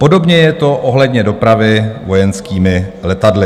Podobně je to ohledně dopravy vojenskými letadly.